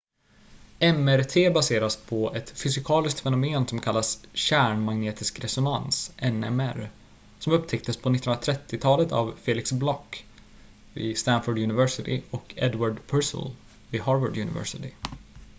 mrt baseras på ett fysikaliskt fenomen som kallas kärnmagnetisk resonans nmr som upptäcktes på 1930-talet av felix bloch vid stanford university och edward purcell harvard university